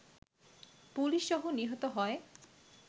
পুলিশসহ নিহত হয়